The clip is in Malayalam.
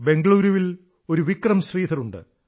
ബംഗളൂരുവിൽ ഒരു വിക്രം ശ്രീധറുണ്ട്